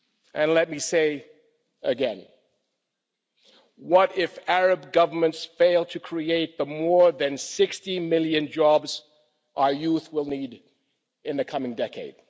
And let me say again what if Arab governments fail to create the more than 60 million jobs our youth will need in the coming decade?